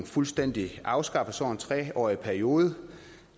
fuldstændig afskaffes over en tre årig periode